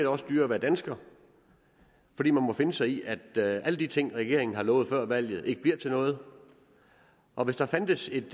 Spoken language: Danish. også dyrere at være dansker fordi man må finde sig i at alle de ting regeringen har lovet før valget ikke bliver til noget og hvis der fandtes et